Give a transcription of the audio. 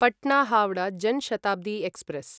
Patna Howrah Jan Shatabdi express